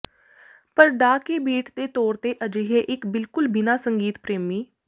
ਪਰ ਡਾ ਕੇ ਬੀਟ ਦੇ ਤੌਰ ਤੇ ਅਜਿਹੇ ਇੱਕ ਬਿਲਕੁਲ ਬਿਨਾ ਸੰਗੀਤ ਪ੍ਰੇਮੀ